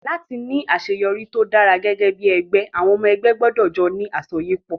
Láti ní àṣeyọrí tó dára gẹ́gẹ́ bí ẹgbẹ́, àwọn ọmọ ẹgbẹ́ gbọdọ̀ jọ ní àsọyépọ̀